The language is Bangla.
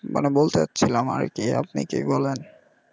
মানে বলতে যাচ্ছিলাম আর কি আপনি কি বলেন.